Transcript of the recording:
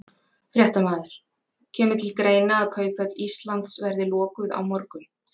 Fréttamaður: Kemur til greina að Kauphöll Íslands verði lokuð á morgun?